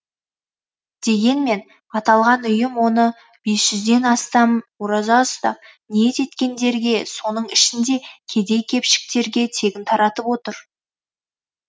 дегенмен аталған ұйым оны бес жүзден астам ораза ұстап ниет еткендерге соның ішінде кедей кепшіктерге тегін таратып отыр